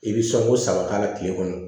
I bɛ sɔnko saba k'a la tile kɔnɔ